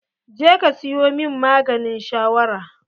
Je ka siyo min maganin shawara!